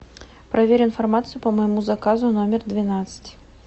проверь информацию по моему заказу номер двенадцать